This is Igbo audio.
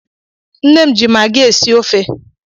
Nne m ji magị esi ofe.